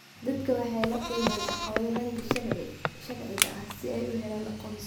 Dadku waxay la kulmaan caqabado dhanka sharciga ah si ay u helaan aqoonsi.